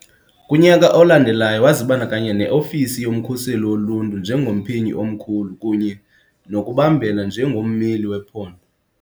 Kunyaka olandelayo wazibandakanya ne - ofisi yoMkhuseli Woluntu njengomphenyi omkhulu kunye nokubambela njengommeli wephondo